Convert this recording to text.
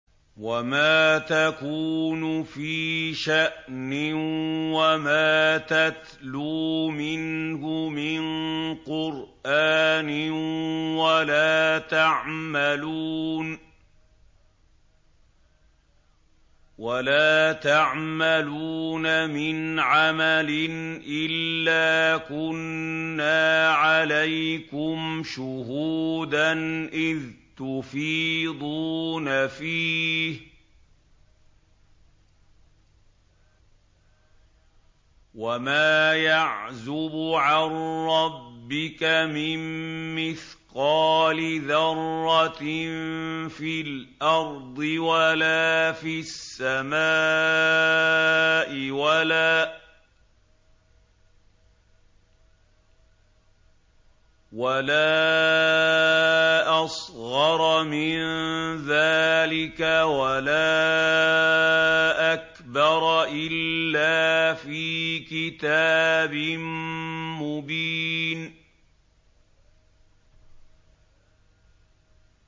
وَمَا تَكُونُ فِي شَأْنٍ وَمَا تَتْلُو مِنْهُ مِن قُرْآنٍ وَلَا تَعْمَلُونَ مِنْ عَمَلٍ إِلَّا كُنَّا عَلَيْكُمْ شُهُودًا إِذْ تُفِيضُونَ فِيهِ ۚ وَمَا يَعْزُبُ عَن رَّبِّكَ مِن مِّثْقَالِ ذَرَّةٍ فِي الْأَرْضِ وَلَا فِي السَّمَاءِ وَلَا أَصْغَرَ مِن ذَٰلِكَ وَلَا أَكْبَرَ إِلَّا فِي كِتَابٍ مُّبِينٍ